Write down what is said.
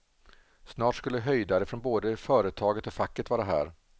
Snart skulle höjdare från både företaget och facket vara här.